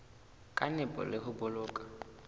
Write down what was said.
ka nepo le ho boloka